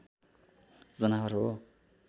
जनावर हो